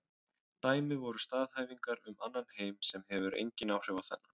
Dæmi væru staðhæfingar um annan heim sem hefur engin áhrif á þennan.